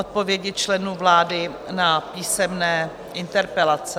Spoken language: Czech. Odpovědi členů vlády na písemné interpelace